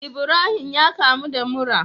Ibrahim yakamu da mura